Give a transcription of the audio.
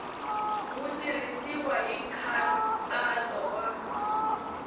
ri tirhisiwile hi nkhaqato wa